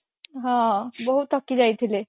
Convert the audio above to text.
ହଁ ବହୁତ ଥକି ଯାଇଥିଲେ